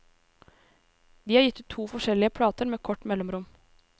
De har gitt ut to forskjellige plater med kort mellomrom.